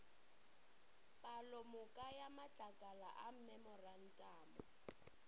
palomoka ya matlakala a memorantamo